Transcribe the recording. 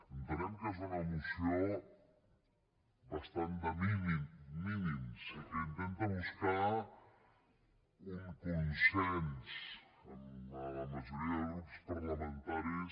entenem que és una moció bastant de mínims i que intenta buscar un consens amb la majoria de grups parlamentaris